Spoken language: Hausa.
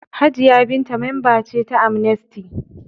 Hajiya Binta mamba ce ta Amnesty.